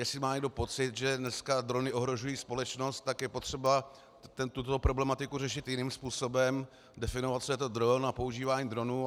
Jestli má někdo pocit, že dneska drony ohrožují společnost, tak je potřeba tuto problematiku řešit jiným způsobem, definovat, co je to dron a používání dronů.